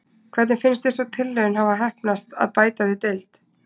Hvernig finnst þér sú tilraun hafa heppnast að bæta við deild?